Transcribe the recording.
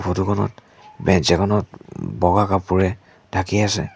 ফটোখনত বেঞ্চ এখনত ওম বগা কাপোৰে ঢাকি আছে।